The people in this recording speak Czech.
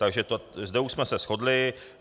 Takže zde už jsme se shodli.